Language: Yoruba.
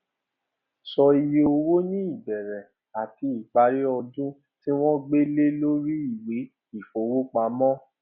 sọ iye owó ní ìbẹrẹ àti ìparí ọdún tí wón gbé lẹ lórí ìwé ìfowópamọ